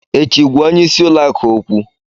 Echi, gwa onye isi ụlọ akụ okwu!